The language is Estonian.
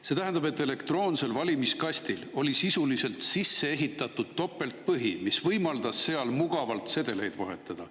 See tähendab, et elektroonsel valimiskastil oli sisuliselt sisse ehitatud topeltpõhi, mis võimaldas seal mugavalt sedeleid vahetada.